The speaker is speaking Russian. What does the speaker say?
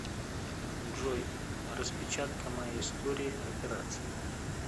джой распечатка моей истории операций